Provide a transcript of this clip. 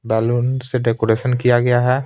Balloon से decoration किया गया है।